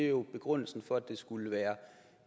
jo begrundelsen for at det skulle være